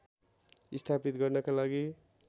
स्थापित गर्नका लागि